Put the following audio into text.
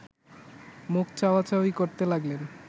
মুখ চাওয়া-চাওয়ি করতে লাগলেন